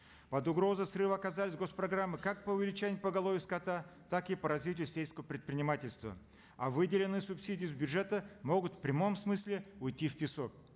под угрозой срыва оказались госпрограммы как по увеличению поголовья скота так и по развитию сельского предпринимательства а выделенные субсидии с бюджета могут в прямом смысле уйти в песок